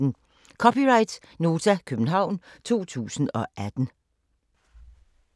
(c) Nota, København 2018